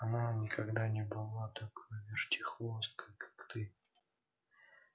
она никогда не была такой вертихвосткой как ты